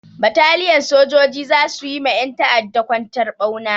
Bataliyan sojoji za su yi ma ƴan ta'adda kwantar ɓauna.